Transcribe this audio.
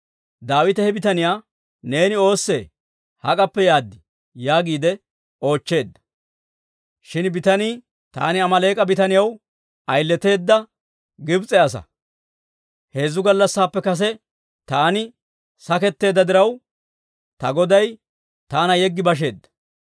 Daawite he bitaniyaa, «Neeni oossee? Hak'appe yaad?» yaagiide oochcheedda. Shin bitanii, «Taani Amaaleek'a bitaniyaw ayileteedda Gibs'e asaa; heezzu gallassappe kase taani saketteedda diraw, ta goday taana yeggi basheedda.